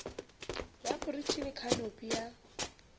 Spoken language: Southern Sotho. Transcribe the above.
ya moriti le khanopi ya